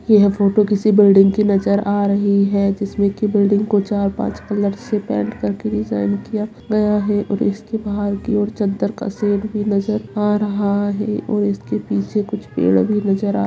यह फोटो किसी बिल्डिंग की नजर आ रही है जिसमें की बिल्डिंग को चार-पांच कलर से पेंट करके डिजाइन किया गया है और इसके बाहर की ओर चदर का सीन भी नजर आ रहा है और इसके पीछे कुछ पेड़ भी नजर आ --